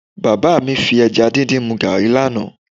Bàbá mi fi ẹja díndín mu gààrí lánàá